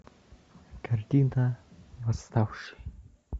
картина восставший